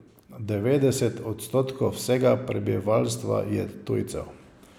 Devetdeset odstotkov vsega prebivalstva je tujcev.